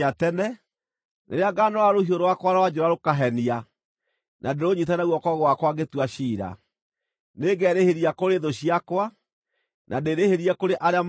rĩrĩa ngaanoora rũhiũ rwakwa rwa njora rũkahenia na ndĩrũnyiite na guoko gwakwa ngĩtua ciira, nĩngerĩhĩria kũrĩ thũ ciakwa, na ndĩĩrĩhĩrie kũrĩ arĩa maathũire.